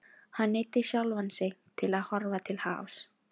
Hann neyddi sjálfan sig til að horfa til hafs.